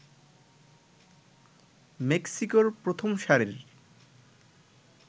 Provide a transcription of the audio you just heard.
মেক্সিকোর প্রথমসারির